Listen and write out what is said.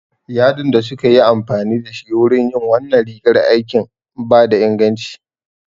Yadin da suka yi amfani da shi wurin yin wannan rigar aikin bai da inganci